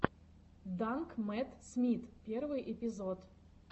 данг мэтт смит первый эпизод